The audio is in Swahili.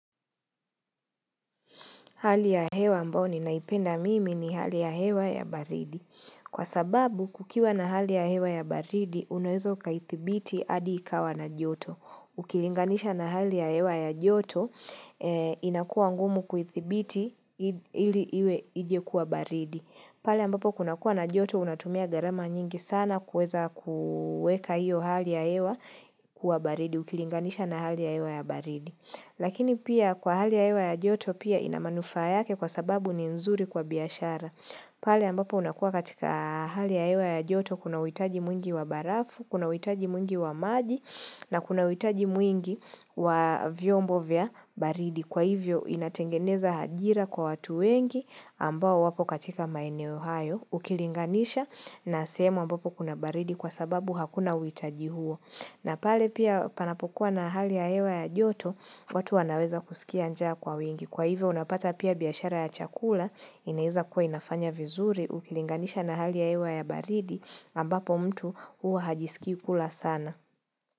Hali ya hewa ambayo ninaipenda mimi ni hali ya hewa ya baridi. Kwa sababu, kukiwa na hali ya hewa ya baridi, unaweza ukaithibiti hadi ikawa na joto. Ukilinganisha na hali ya hewa ya joto, inakuwa ngumu kuithibiti ili iwe ije kuwa baridi. Pale ambapo kuna kuwa na joto, unatumia gharama nyingi sana kuweza kuweka hiyo hali ya hewa kuwa baridi. Ukilinganisha na hali ya hewa ya baridi. Lakini pia kwa hali ya hewa ya joto pia inamanufaa yake kwa sababu ni nzuri kwa biashara pale ambapo unakuwa katika hali ya hewa ya joto kuna uhitaji mwingi wa barafu, kuna uhitaji mwingi wa maji na kuna uhitaji mwingi wa vyombo vya baridi Kwa hivyo inatengeneza ajira kwa watu wengi ambao wapo katika maeneo hayo ukilinganisha na sehemu ambapo kuna baridi kwa sababu hakuna uhitaji huo na pale pia panapokuwa na hali ya hewa ya joto, watu wanaweza kusikia njaa kwa wingi. Kwa hivyo unapata pia biashara ya chakula, inaweza kuwa inafanya vizuri, ukilinganisha na hali ya hewa ya baridi, ambapo mtu huwa hajisikii kula sana.